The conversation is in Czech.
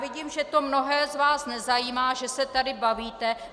Vidím, že to mnohé z vás nezajímá, že se tady bavíte.